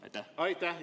Aitäh!